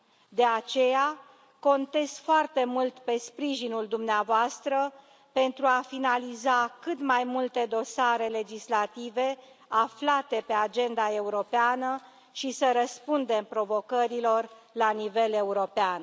De aceea contez foarte mult pe sprijinul dumneavoastră, pentru a finaliza cât mai multe dosare legislative aflate pe agenda europeană și a răspunde provocărilor la nivel european.